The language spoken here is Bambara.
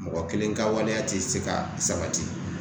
Mɔgɔ kelen ka waleya tɛ se ka sabati